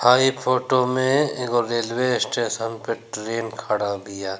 हई फोटो में एगो रेलवे स्टेशन पे ट्रेन खड़ा बिया।